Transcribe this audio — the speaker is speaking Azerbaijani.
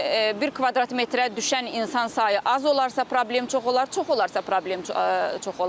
Bir kvadrat metrə düşən insan sayı az olarsa problem çox olar, çox olarsa problem çox olar.